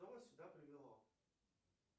что вас сюда привело